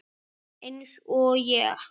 Eins og ég?